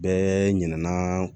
Bɛɛ ɲinɛna